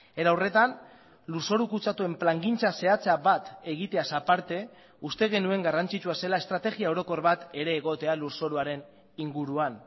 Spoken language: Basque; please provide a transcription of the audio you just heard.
era horretan lurzoru kutsatuen plangintza zehatza bat egiteaz aparte uste genuen garrantzitsua zela estrategia orokor bat ere egotea lurzoruaren inguruan